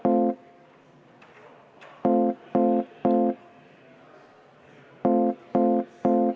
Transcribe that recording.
Ühtlasi oleme saanud ka istungiga ühele poole.